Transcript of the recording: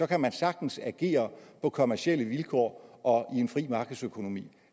kan man sagtens agere på kommercielle vilkår og i en fri markedsøkonomi